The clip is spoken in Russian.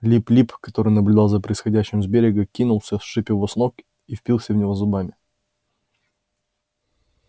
лип лип который наблюдал за происходящим с берега кинулся сшиб его с ног и впился в него зубами